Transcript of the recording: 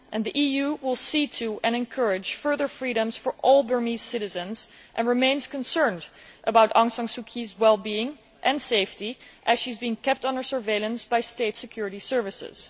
The EU will see to and encourage further freedoms for all Burmese citizens and remains concerned about Aung San Suu Kyi's wellbeing and safety, as she is being kept under surveillance by state security services.